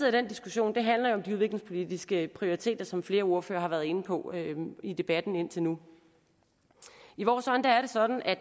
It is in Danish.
af den diskussion handler jo om de udviklingspolitiske prioriteter som flere ordførere har været inde på i debatten indtil nu i vores øjne er det sådan at